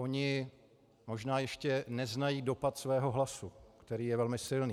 Oni možná ještě neznají dopad svého hlasu, který je velmi silný.